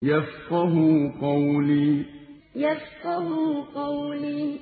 يَفْقَهُوا قَوْلِي يَفْقَهُوا قَوْلِي